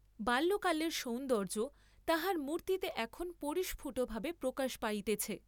পাল্যকালের সৌন্দর্য্য তাহার মুর্তিতে এখন পরিসফুটভাবে প্রকাশ পাইতেছে।